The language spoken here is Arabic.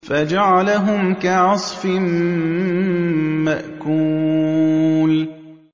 فَجَعَلَهُمْ كَعَصْفٍ مَّأْكُولٍ